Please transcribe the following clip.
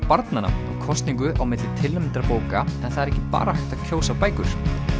barnanna og kosningu á milli tilnefndra bóka en það er ekki bara hægt að kjósa bækur